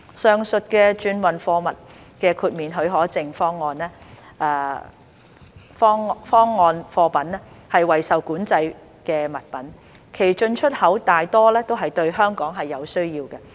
上述的轉運貨物豁免許可證方案貨品為受管制物品，其進出口大多是對香港是有需要的。